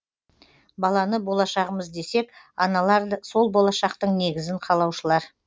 баланы болашағымыз десек аналар сол болашақтың негізін қалаушылар